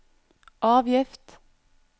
avgift